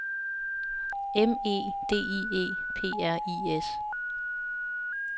M E D I E P R I S